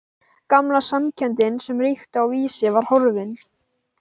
Gamla samkenndin sem ríkti á Vísi var horfin.